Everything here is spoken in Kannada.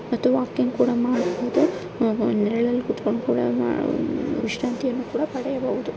ಮತ್ತು ವಾಕಿಂಗ್ ಕೂಡ ಮಾಡಬಹುದು ಉಹ್ ನೆರಳಲ್ಲಿ ಕೂತ್ಕೊಂಡು ಕೂಡ ಮಾಡ ವಿಶ್ರಾಂತಿ ಕೂಡ ಪಡಿಬಹುದು--